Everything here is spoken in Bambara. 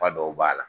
Fa dɔw b'a la